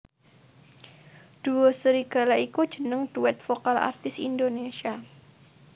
Duo Serigala iku jeneng duet vokal artis Indonesia